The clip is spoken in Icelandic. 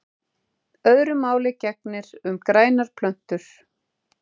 Öðru máli gegnir um grænar plöntur.